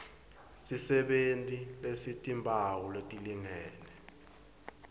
sisebenti lesitimphawu letilingene